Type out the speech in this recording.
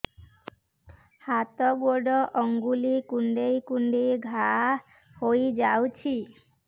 ହାତ ଗୋଡ଼ ଆଂଗୁଳି କୁଂଡେଇ କୁଂଡେଇ ଘାଆ ହୋଇଯାଉଛି